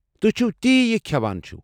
تُہۍ چھِوٕ تی یہِ كھیوان چھِوٕ ۔